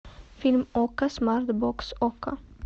фильм окко смарт бокс окко